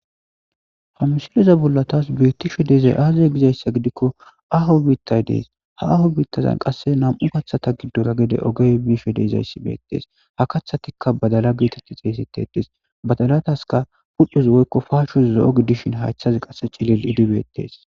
Ha misileza bolla tas beettishe dizay azee egidikko aaho biittay dees ha aaho biittaza nam'u kaththata gidora oogey bishe dizayssi beettes ha kaththatikka baddalla gettettidii xeyssesettettes baddallazssikka huphphezi woykko capezii zoo gidi beettes zookozii cillillo gididi beettes